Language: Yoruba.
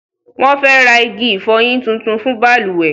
Wọn fẹ rq igi ìfọyín tuntun fun balùwẹ́